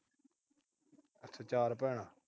ਚਾਰ ਭੈਣਾਂ।